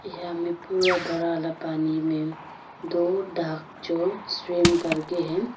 यहां मे पूरा बड़ा वाला पानी दो डक जो स्विमिंग करती है।